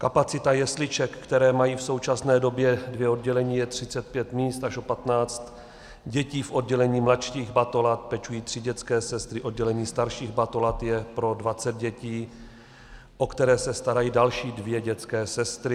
Kapacita jesliček, které mají v současné době dvě oddělení, je 35 míst, takže o 15 dětí v oddělení mladších batolat pečují tři dětské sestry, oddělení starších batolat je pro 20 dětí, o které se starají další dvě dětské sestry.